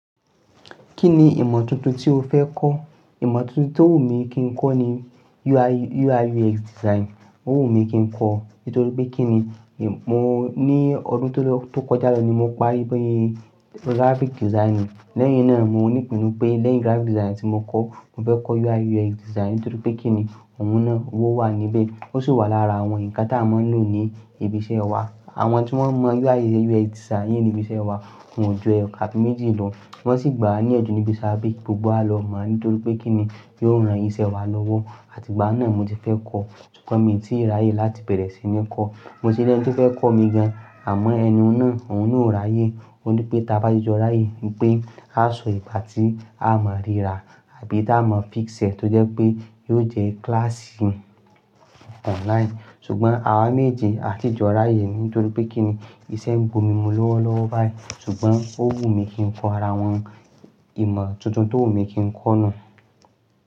Kí ni ìmọ̀ tuntun tí o fẹ́ kọ́? Ìmọ̀ tuntun tó wù mí kí n kọ́ ni UI UX Design. Ó wù mí kí n kọ́ nítorí pé kí ni, mo ní ọdún tó lọ tó kọjá lọ ni mo parí pé graphic design. Lẹ́yìn náà mo ní ìpinnu pé lẹ́yìn graphic design tí mo kọ́, mo fẹ́ kọ́ UI UX Design nítorí pé kí ni òun náà ówo wà níbẹ̀. Ó sì wà lára àwọn nǹkan tí a máa ń lò ní ibi iṣẹ́ wa. Àwọn tí wọ́n mọ UI UX Design ní ibi iṣẹ́ wa wọ́n ju ẹyokan abi méjì lọ. Wọ́n sì gbà wá ní iyanju níbi iṣẹ́, bí gbogbo wa lọ mọ̀ọ́ nítorí pé kí ni yóò ran iṣẹ́ wa lọ́wọ́. Àtìgbà náà mo ti fẹ́ kọ́, ṣùgbọ́n mi ò tí ì ráyè láti bẹ̀rẹ̀ sí ní kọ́. Mo sì lẹ́ni tí ó fẹ́ kọ́ mi gan, àmọ́ ẹni náà òún náà ò ráyè. Ó ní pé tí a bá ti jọ ráyè pé a so ìgbà tí a máa ríra àbí ta maa fix ee tó jẹ́ pé yóò jẹ́ kílàsì online. Ṣùgbọ́n àwa méje a ti jọ ráyè nítorí pé kí ni iṣẹ́ ń gba omi mú lọ́wọ́ lọ́wọ́ báyìí. Ṣùgbọ́n ó wù mí kí n kọ́ ara àwọn ìmọ̀ tuntun tó wù mí kí n kọ́ náà.